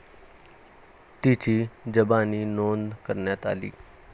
तिची जबानी नोंद करण्यात आली.